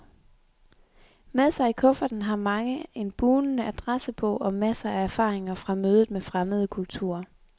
Med sig i kufferten har mange en bugnende adressebog og masser af erfaringer fra mødet med fremmede kulturer.